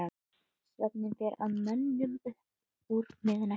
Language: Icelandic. Svefninn fer að mönnum upp úr miðnætti.